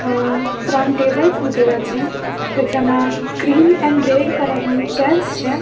અ ત્રણ ટેબલ્સ મુકેલા છે કે જેમાં ક્રીમ એન્ડ રેડ કલર ની ચેર્સ છે.